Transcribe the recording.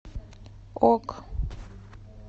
ок